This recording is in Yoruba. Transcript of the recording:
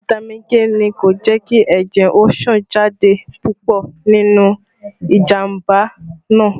Fitami K ni kò jẹ́ kí ẹ̀jẹ̀ ó sàn jáde púpọ̀ nínú ìjàmbá náà